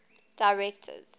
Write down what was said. directors